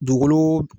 Dugukolo